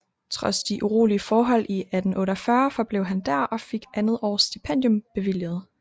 Trods de urolige forhold i 1848 forblev han der og fik andet års stipendium bevilget